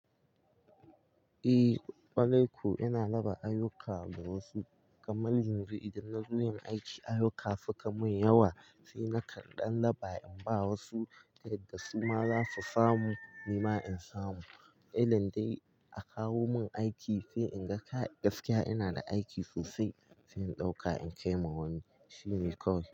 Eh, ƙwarai ko ina raba ayyuka ga wasu, kamar yanzu idan na zo yin aiki ayyuka suka mun yawa, sai na kan ɗan lafa in ba wasu, yadda su ma zasu samu nima in samu. Ilin dai a kawo mun aiki sai in ga kai! Gaskiya ina da aiki sosai, sai in ɗauka in kai ma wani. Shi ne kawai.